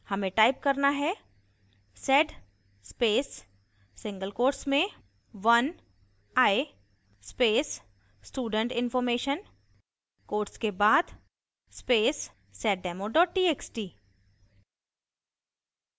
हमें type करना है: sed space single quotes में 1i space student information quotes के बाद space seddemo txt